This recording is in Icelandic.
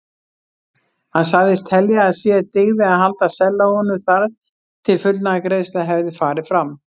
Hann sagðist telja að sér dygði að halda sellóinu þar til fullnaðargreiðsla hefði farið fram.